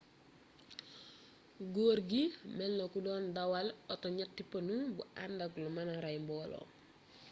gorgui melna ko don dawal oto ñetti panu bu andak lu mëna rey mboolo